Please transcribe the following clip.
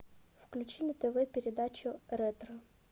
включи на тв передачу ретро